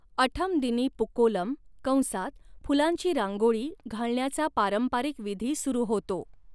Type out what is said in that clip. अठम दिनी पूकोलम कंसात फुलांची रांगोळी घालण्याचा पारंपरिक विधी सुरू होतो.